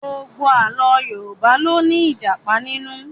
Gbogbo Àlọ́ Yorùbá ló ní Ìjàpá nínú